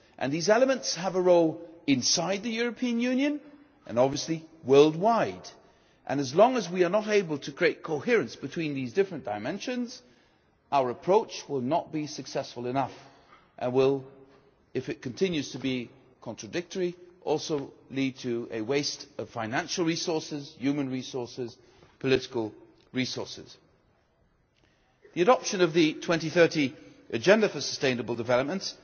These elements have a role inside the European Union, and obviously worldwide, and as long as we are not able to create coherence between these different dimensions our approach will not be successful enough and will, if it continues to be contradictory, also lead to a waste of financial resources, human resources, political resources. The adoption of the 2030 Agenda for sustainable development